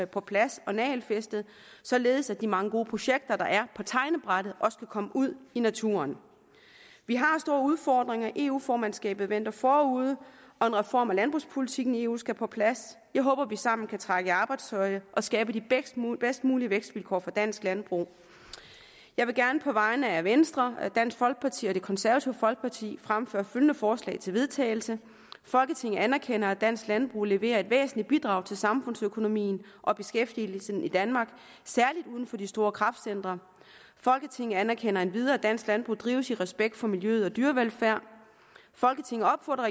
på plads og nagelfæstet således at de mange gode projekter der er på tegnebrættet også kan komme ud i naturen vi har store udfordringer eu formandskabet venter forude og en reform af landbrugspolitikken i eu skal på plads jeg håber vi sammen kan trække i arbejdstøjet og skabe de bedst mulige vækstvilkår for dansk landbrug jeg vil gerne på vegne af venstre dansk folkeparti og det konservative folkeparti fremsætte følgende forslag til vedtagelse folketinget anerkender at dansk landbrug leverer et væsentligt bidrag til samfundsøkonomien og beskæftigelsen i danmark særligt uden for de store kraftcentre folketinget anerkender endvidere at dansk landbrug drives i respekt for miljø og dyrevelfærd folketinget opfordrer